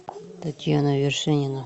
татьяна вершинина